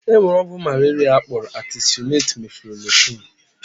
E nwere ọgwụ malaria akpọrọ atesunet-meflokwuin.